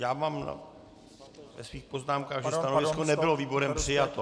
Já mám ve svých poznámkách, že stanovisko nebylo výborem přijato.